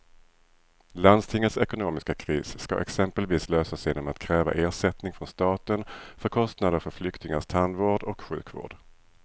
Landstingets ekonomiska kris ska exempelvis lösas genom att kräva ersättning från staten för kostnader för flyktingars tandvård och sjukvård.